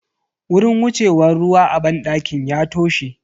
Wurin wucewan ruwa a banɗakin ya toshe.